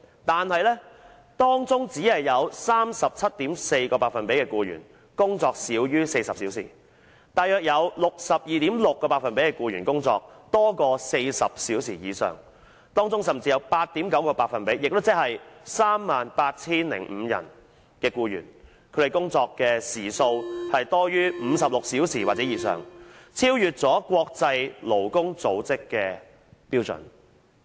但是，當中只有 37.4% 的僱員工作少於40小時，大約有 62.6% 的僱員工作多於40小時以上，當中甚至有 8.9% 的僱員，他們的工作時數多於56小時或以上，超越國際勞工組織的標準。